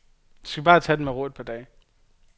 Du skal bare tage den med ro i et par dage.